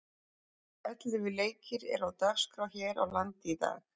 Ellefu leikir eru á dagskrá hér á landi í dag.